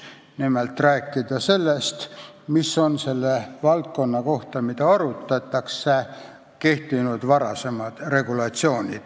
Nimelt tuleb rääkida sellest, millised on olnud konkreetses valdkonnas kehtinud varasemad regulatsioonid.